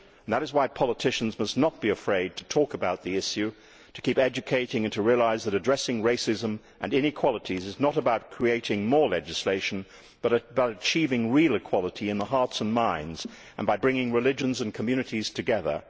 That is why politicians must not be afraid to talk about the issue, to keep educating and to realise that addressing racism and inequalities is not about creating more legislation, but about achieving real equality in hearts and minds and by bringing religions and communities together.